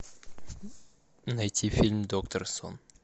найти фильм доктор сон